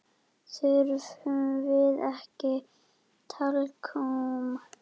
Þurfum við ekki talkúm?